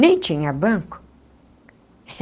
Nem tinha banco.